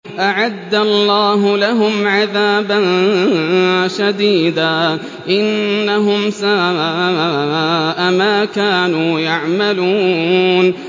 أَعَدَّ اللَّهُ لَهُمْ عَذَابًا شَدِيدًا ۖ إِنَّهُمْ سَاءَ مَا كَانُوا يَعْمَلُونَ